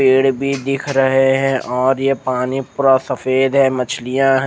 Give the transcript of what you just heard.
पेड़ भी दिख रहे है और ये पानी पूरा सफेद है मछलिया है।